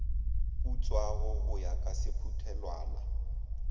putswago go ya ka sephuthelwana